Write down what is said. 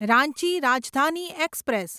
Ranchi Rajdhani express